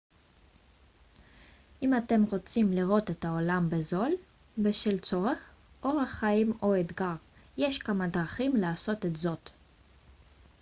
אם אתם רוצים לראות את העולם בזול בשל צורך אורח חיים או אתגר יש כמה דרכים לעשות זאת